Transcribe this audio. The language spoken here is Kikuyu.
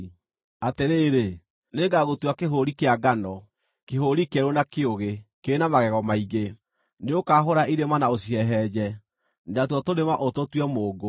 “Atĩrĩrĩ, nĩngagũtua kĩhũũri kĩa ngano, kĩhũũri kĩerũ na kĩũgĩ, kĩna magego maingĩ. Nĩũkahũũra irĩma na ũcihehenje, natuo tũrĩma ũtũtue mũũngũ.